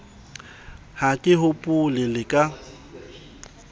ha ke hopole le ka